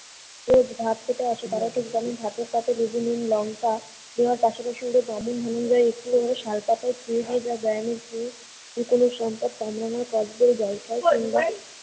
রোজ ভাত খেতে আসে তারাই ঠিক জানেন ভাতের পাতে বিভিন্ন লঙ্কা এবং তার সাথে সুন্দর একটু হলেও সালপাতায়ে ছুঁয়ে গিয়ে লুকোনো সম্পদ